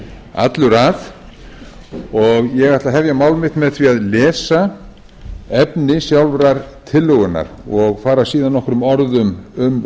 allur að og ég ætla að hefja mál mitt með því að lesa efni sjálfrar tillögunnar og fara síðan nokkrum orðum um